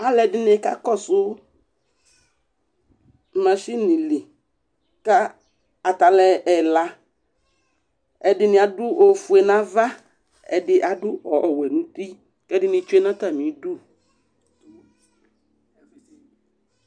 Alʋɛdɩnɩ kakɔsʋ masin li kʋ ata alʋ ɛla Ɛdɩnɩ adʋ ofue nʋ ava, ɛdɩ adʋ ɔwɛ nʋ uti kʋ ɛdɩnɩ tsue nʋ atamɩdu